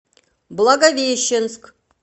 благовещенск